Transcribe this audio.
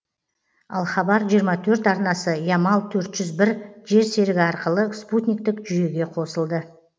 ал хабар жиырма төрт арнасы ямал төрт жүз бір жер серігі арқылы спутниктік жүйеге қосылды